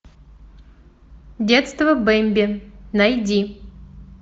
детство бэмби найди